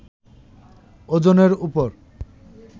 ওজনের উপর